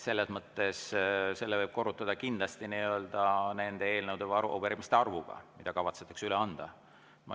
Selles mõttes võib selle aja korrutada kindlasti nende eelnõude ja arupärimiste arvuga, mida kavatsetakse üle anda.